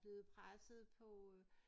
Blevet presset på øh